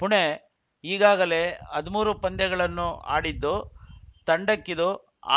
ಪೂನೆ ಈಗಾಗಲೇ ಹಧಿಮೂರು ಪಂದ್ಯಗಳನ್ನು ಆಡಿದ್ದು ತಂಡಕ್ಕಿದು